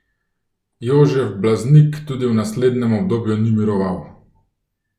Jožef Blaznik tudi v naslednjem obdobju ni miroval.